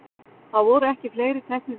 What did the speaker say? Það voru ekki fleiri teknir í viðtöl.